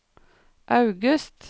august